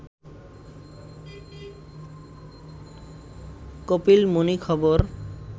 কপিলমুনি খবর